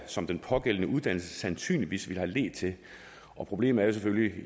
som den pågældende uddannelse sandsynligvis ville have ledt til problemet er jo selvfølgelig